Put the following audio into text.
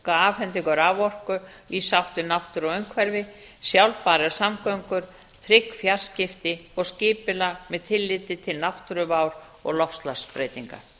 afhendingu raforku í sátt við náttúru og umhverfi sjálfbærar samgöngur trygg fjarskipti og skipulag með tilliti til náttúruvár og loftslagsbreytinga